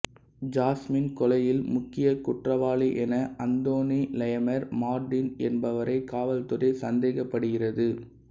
jasmine கொலையில் முக்கிய குற்றவாளியென அந்தோனி லெமயர் மார்டின் என்பவரை காவல்துறை சந்தேகப்படுகிறது